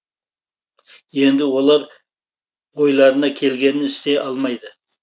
енді олар ойларына келгенін істей алмайды